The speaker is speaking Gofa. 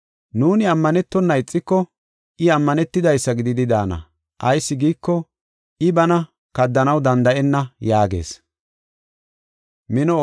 Nuuni ammanetona ixiko, I ammanetidaysa gididi daana. Ayis giiko, I bana kaddanaw danda7enna” yaagees.